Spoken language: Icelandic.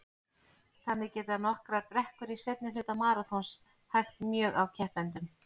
Þannig geta nokkrar brekkur í seinni hluta maraþons hægt mjög á keppendum.